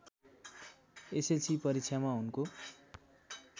SLC परीक्षामा उनको